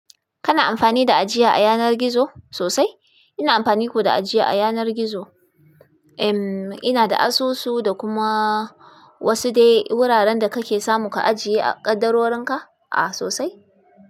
Kana amfani da ajiya a yanar gizo sosai? Ina amfani ko da ajiya a yanar gizo. Em, ina da asusu da kuma wasu dai wuraren da kake samu ka ajiye a ƙaddarorin ka. Ah sosai.